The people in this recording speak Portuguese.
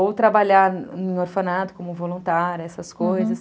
Ou trabalhar em orfanato como voluntária, essas coisas, uhum.